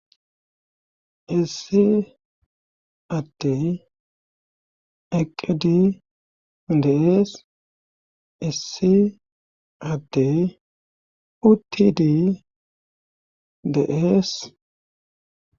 issi addey eqqedi deees issi addey uttidi de7ees